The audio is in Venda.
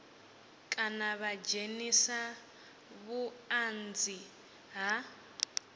kana vha dzhenise vhuanzi ha